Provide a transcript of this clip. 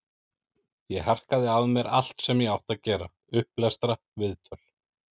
Ég harkaði af mér allt sem ég átti að gera, upplestra, viðtöl.